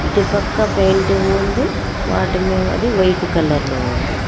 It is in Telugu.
ఇటు పక్క పెయింటింగ్ ఉంది వాటి వైట్ కలర్ లో ఉంది.